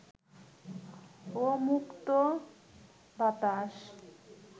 ও মুক্ত বাতাস